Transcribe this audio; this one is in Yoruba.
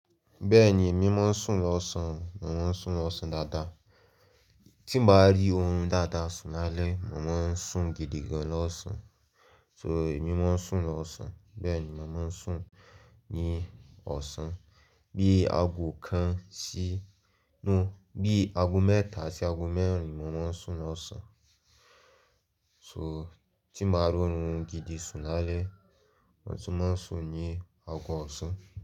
Bẹ́ẹ̀ni, emí mọ̀ ń sún lọ́ sán, mò ń sún lọ́ sán dáadáa. Tí n ba á rí orun dáadáa sún lálẹ̀, mò maa ń sún gidi gan lọ́ sán. So, emí mọ̀ ń sún lọ́ sán. Bẹ́ẹ̀ni, mò ń sún ní ọ̀sán. Bí ago kan sí inú, bí ago mẹ́ta sí ago mẹ́rin mò ma ń sún lọ́ sán. So, tí mo á rí orun gidi sún lálẹ̀, mo tí máa ń sún ní ago ọ̀sán.